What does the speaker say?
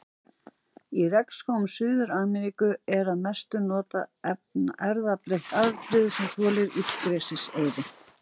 Í regnskógum Suður-Ameríku er að mestu notað erfðabreytt afbrigði sem þolir illgresiseyði.